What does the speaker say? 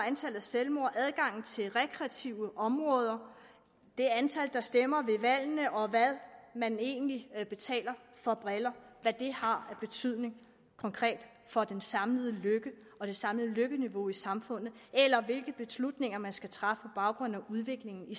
antallet af selvmord adgangen til rekreative områder det antal der stemmer ved valgene og hvad man egentlig betaler for briller har af betydning konkret for den samlede lykke og det samlede lykkeniveau i samfundet eller hvilke beslutninger man skal træffe på baggrund af udviklingen i